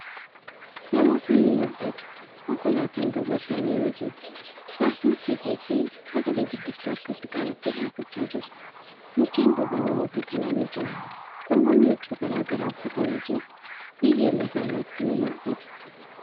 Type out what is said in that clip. Namootni ni mul'atu. konkolaataan duuba isaanii ni jira. Jaartin siiqee fi sagale guddistuu harkatti qabattee dhaabbachaa jirti. Mukkeen duuba namoota kanaa ni jira. Namootni huccuu garagaraa uffatanii jiru. Biyyeen lafa irratti ni mul'ata.